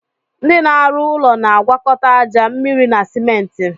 Ndị na arụ ụlọ na agwakọta aja, mmịrị na simenti